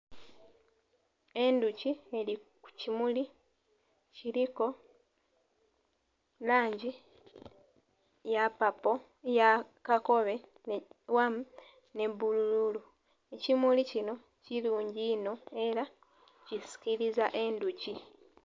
Endhuki eli ku kimuli. Kiliku langi ya papo, eya kakobe awamu nhe ya bbululu. Ekimuli kino kilungi inho ela kisikiliza endhuki.